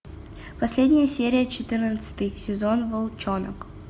последняя серия четырнадцатый сезон волчонок